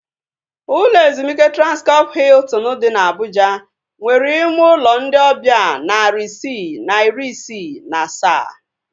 Ụlọ ezumike Transkọp Hiltin dị na Abuja nwere ime ụlọ ndị ọbịa narị isii na iri isii na asaa